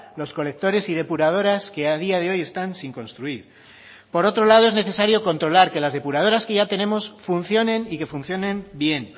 los colectores y depuradoras que a día de hoy están sin construir por otro lado es necesario controlar que las depuradoras que ya tenemos funcionen y que funcionen bien